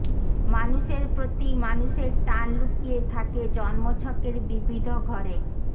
মানুষের প্রতি মানুষের টান লুকিয়ে থাকে জন্মছকের বিবিধ ঘরে